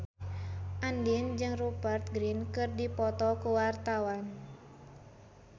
Andien jeung Rupert Grin keur dipoto ku wartawan